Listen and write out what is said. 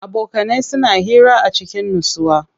Abokanai suna hira a cikin nutsuwa.